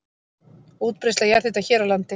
Útbreiðsla jarðhita hér á landi